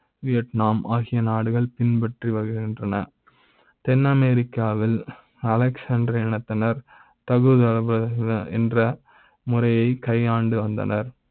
வியட்நா ம் ஆகிய நாடுகள் பின்பற்றி வருகின்றன தென்ன மெரிக்கா வில் Aristotle என்னத்த னர் தகுதி தேர்வு என்ற முறை யைக் கையாண்டு வந்தனர்